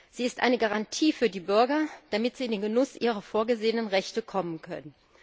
Sie ist eine Garantie für die Bürger, damit sie in den Genuss ihrer vorgesehenen Rechte kommen können.